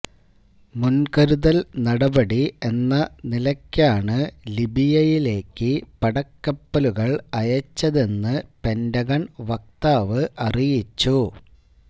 മുന്കരുതല് നടപടി എന്ന നിലക്കാണ് ലിബിയയിലേക്ക് പടക്കപ്പലുകള് അയച്ചതെന്ന് പെന്റഗണ് വക്താവ് അറിയിച്ചു